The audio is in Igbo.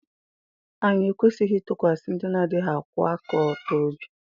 Anyị ekwesịghị ịtụkwasị ndị na-adịghị akwụwa aka ọtọ obi